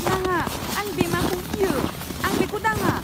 नाङा! आं बेमाखौ गियो। आं बेखौ दांङा।